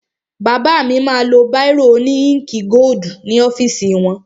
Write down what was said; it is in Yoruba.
Bàbá mi ma lo báìrò òní íǹkì gódù ní ọ́fìsì wọn.